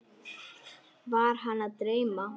Var hana að dreyma?